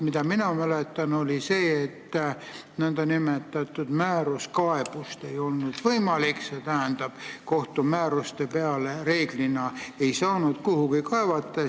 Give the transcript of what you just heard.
Mina mäletan, et algselt oli nii, et määruskaebust kohtumääruste peale reeglina ei saanud kuhugi esitada.